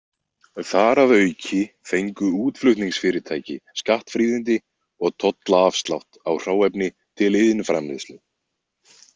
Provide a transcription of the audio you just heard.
Þar að auki fengu útflutningsfyrirtæki skattfríðindi og tollaafslátt á hráefni til iðnframleiðslu.